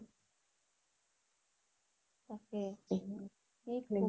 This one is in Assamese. তাকেই